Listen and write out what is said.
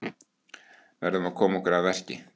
Verðum að koma okkur að verki